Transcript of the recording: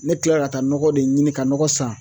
Ne kilala ka taa nɔgɔ de ɲini ka nɔgɔ san